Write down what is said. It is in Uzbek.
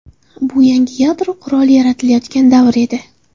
Bu yangi yadro quroli yaratilayotgan davr edi”.